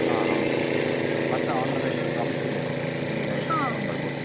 ಹಾ ಹೌದು, ಬರ್ತಾ on the way crumbs ಇದೆ ನಿಮಗೆ ತಕೊಂಡು ಬರ್ಬೋದು?